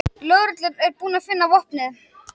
Lögreglan er búin að finna vopnið